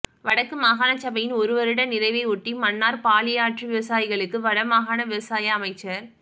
வடக்கு மாகாணசபையின் ஒரு வருட நிறைவையொட்டி மன்னார் பாலியாற்று விவசாயிகளுக்கு வடமாகாண விவசாய அமைச்சர்